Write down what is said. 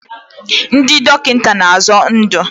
Ndị dọkịta na-azọ ndụ.